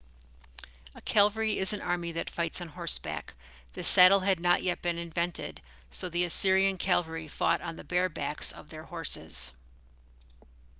a cavalry is an army that fights on horseback the saddle had not yet been invented so the assyrian cavalry fought on the bare backs of their horses